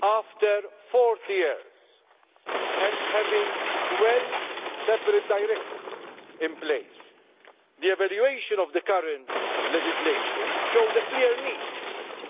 After 40 years, and with 12 separate directives in place, the evaluation of the current legislation showed a clear need